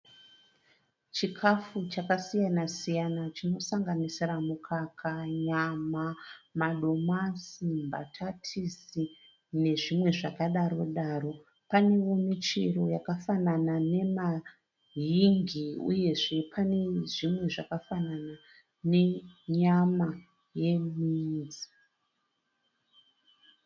Chikafu chakasiyana siyana chinosanganisira mukaka, nyama, madomasi, mbatatisi nezvimwe zvakadaro daro. Panewo michero yakafanana ne yingi uyezve pane zvimwe zvakafanana nenyama yeminzi.